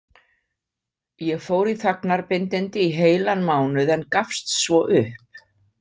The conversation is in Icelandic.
Ég fór í þagnarbindindi í heilan mánuð en gafst svo upp.